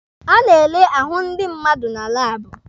A na-ele ahụ ndi mmadụ na laabụ.